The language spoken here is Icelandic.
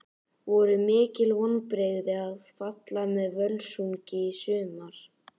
Voru mikil vonbrigði að falla með Völsungi í sumar?